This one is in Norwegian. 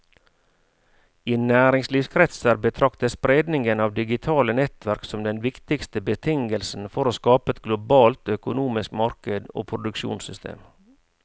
I næringslivskretser betraktes spredningen av digitale nettverk som den viktigste betingelsen for å skape et globalt økonomisk marked og produksjonssystem.